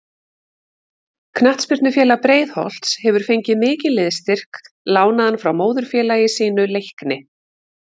Knattspyrnufélag Breiðholts hefur fengið mikinn liðsstyrk lánaðan frá móðurfélagi sínu Leikni.